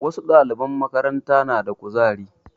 Wasu ɗaliban makaranta na da ƙuzari.